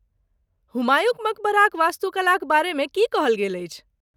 हुमायूँक मकबराक वास्तुकलाक बारेमे की कहल गेल अछि?